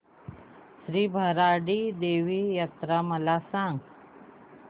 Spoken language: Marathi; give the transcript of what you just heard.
श्री भराडी देवी यात्रा मला सांग